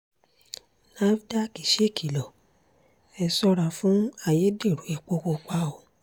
nafdac ṣèkìlọ̀ ẹ ṣọ́ra fún ayédèrú epo pupa o